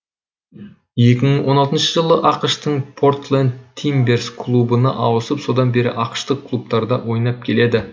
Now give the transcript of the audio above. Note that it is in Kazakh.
екі мың он алтыншы жылы ақш тың портленд тимберс клубына ауысып содан бері ақш тық клубтарда ойнап келеді